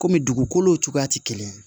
Kɔmi dugukolo cogoya tɛ kelen ye